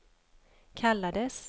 kallades